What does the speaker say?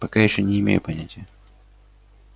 пока ещё не имею понятия